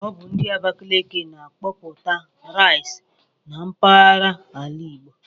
Ọ bu ndi Abakaliki na-akọputa rice na mpaghara ala Igbo